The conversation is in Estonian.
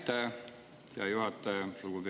Aitäh, hea juhataja!